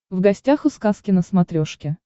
в гостях у сказки на смотрешке